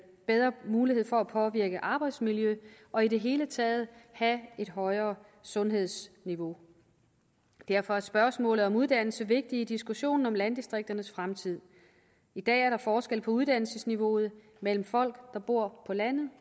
bedre mulighed for at påvirke arbejdsmiljø og i det hele taget have et højere sundhedsniveau derfor er spørgsmålet om uddannelse vigtigt i diskussionen om landdistrikternes fremtid i dag er der forskel på uddannelsesniveauet mellem folk der bor på landet